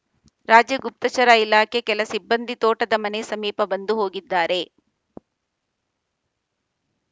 ರಾಜ್ಯ ಗುಪ್ತಚರ ಇಲಾಖೆ ಕೆಲ ಸಿಬ್ಬಂದಿ ತೋಟದ ಮನೆ ಸಮೀಪ ಬಂದು ಹೋಗಿದ್ದಾರೆ